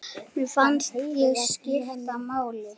Mér fannst ég skipta máli.